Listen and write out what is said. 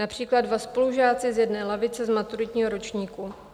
Například dva spolužáci z jedné lavice z maturitního ročníku.